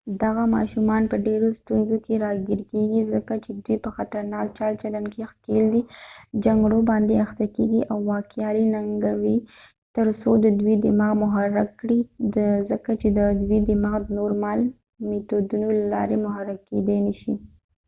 دغه ماشومان په ډیرو ستونزو کې راګیر کیږي ځکه چې دوی په خطرناکه چال چلند کې ښکیل دي جنګړو باندې اخته کیږي او واکیالی ننګوي ترڅو د دوی دماغ محرک کړي ځکه چې د دوی دماغ د نورمال میتودونو له لارې محرک کیدی نشي